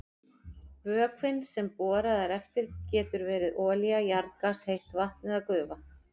Vökvinn sem borað er eftir getur verið olía, jarðgas, heitt vatn eða gufa.